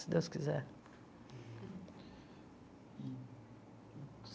Se Deus quiser.